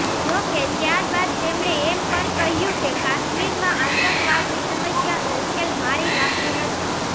જોકે ત્યારબાદ તેમણે એમ પણ કહ્યું કે કાશ્મીરમાં આતંકવાદની સમસ્યાનો ઉકેલ મારી નાખવું નથી